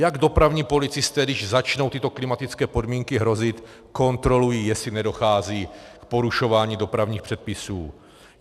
Jak dopravní policisté, když začnou tyto klimatické podmínky hrozit, kontrolují, jestli nedochází k porušování dopravních předpisů?